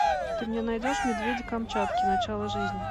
ты мне найдешь медведи камчатки начало жизни